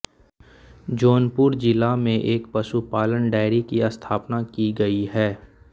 जौनपुर ज़िला मे एक पशुपालन डेयरी की स्थापना की गयी है